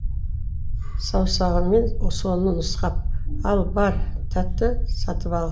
саусағыммен соны нұсқап ал бар тәтті сатып ал